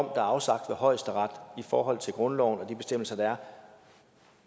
er afsagt af højesteret i forhold til grundloven og de bestemmelser der er